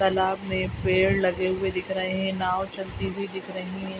तालाब में पेड़ लगे हुए दिख रहे हैं नाव चलती हुई दिख रहीं है।